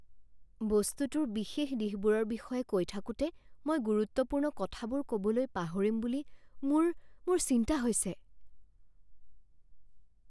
বস্তুটোৰ বিশেষ দিশবোৰৰ বিষয়ে কৈ থাকোঁতে মই গুৰুত্বপূৰ্ণ কথাবোৰ ক'বলৈ পাহৰিম বুলি মোৰ মোৰ চিন্তা হৈছে।